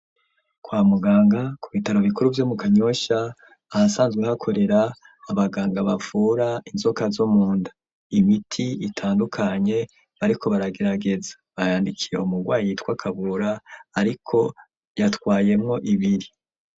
Kwa muganga ku bitaro bikuru vyo mu Kanyosha ahasanzwe hakorera abaganga bavura inzoka zo munda. Imiti itandukanye bariko baragerageza, bayandikiye umurwayi yitwa Kabura, ariko yatwayemwo ibiri.